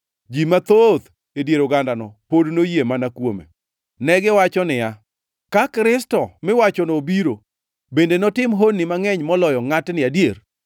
Ji mathoth e dier ogandano pod noyie mana kuome. Negiwacho niya, “Ka Kristo miwachono obiro, bende notim honni mangʼeny moloyo ngʼatni adier?”